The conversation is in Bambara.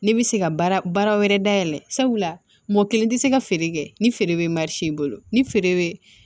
Ne bɛ se ka baara wɛrɛ dayɛlɛ sabula mɔgɔ kelen tɛ se ka feere kɛ ni feere bɛ i bolo ni feere bɛ